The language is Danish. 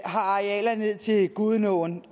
og har arealer ned til gudenåen